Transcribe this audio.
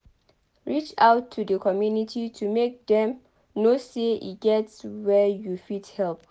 reach out to di community to make dem know sey e get where you fit help